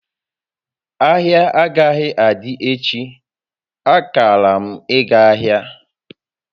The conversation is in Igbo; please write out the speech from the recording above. Ahịa agaghị adị echi, akara m ịga ahịa